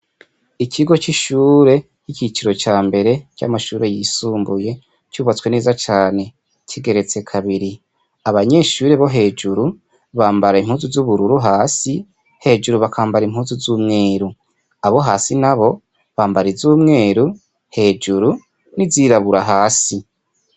Ikigo c'ishure ry'icicro cambere harimwo amashure yisumbuye cubatswe neza cane kigeretswe kabiri, abanyeshure hejuru bamabara impuzu z'ubururu hasi hejuru bakamabara impuzu z'umweru, abo hasi nabo bakambara iz'umweru hejuru n'izubururu hasi.